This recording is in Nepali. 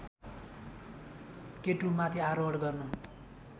केटुमाथि आरोहण गर्न